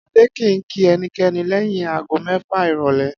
Adé kì í kí e̩niké̩ni lé̩yìn aago mé̩fà ìrò̩lé̩